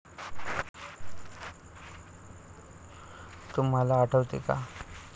तुम्हाला आठवते का?